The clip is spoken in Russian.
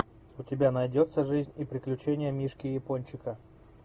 у тебя найдется жизнь и приключения мишки япончика